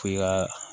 F'i ka